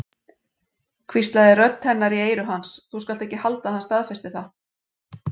hvíslaði rödd hennar í eyru hans, þú skalt ekki halda að hann staðfesti það.